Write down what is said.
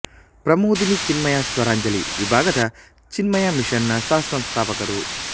ಪ್ರಮೋದಿನಿ ಚಿನ್ಮಯ ಸ್ವರಾಂಜಲಿ ವಿಭಾಗದ ಚಿನ್ಮಯ ಮಿಶನ್ ನ ಸಹಸಂಸ್ಥಾಪಕರು